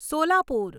Solapur